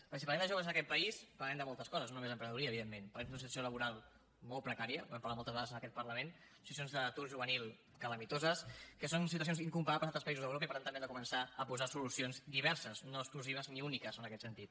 perquè si parlem de joves en aquest país parlarem de moltes coses no només d’emprenedoria evidentment parlarem d’una situació laboral molt precària n’hem parlat moltes vegades en aquest parlament de situacions d’atur juvenil calamitoses que són situacions incomparables a altres països d’europa i per tant també hem de començar a posar solucions diverses no exclusives ni úniques en aquest sentit